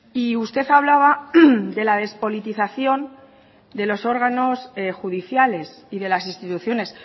y usted hablaba de la despolitización de los órganos judiciales y de las instituciones